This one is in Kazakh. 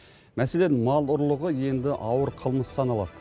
мәселен мал ұрлығы енді ауыр қылмыс саналады